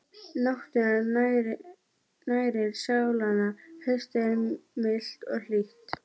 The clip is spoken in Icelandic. Náttúran nærir sálina Haustið er milt og hlýtt.